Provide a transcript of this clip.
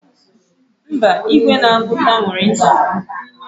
Mba, igwe na-agụta nwere nsogbu.